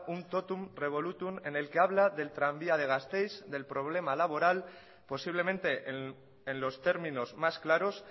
un totum revolutum en el que habla del tranvía de gasteiz del problema laboral posiblemente en los términos más claros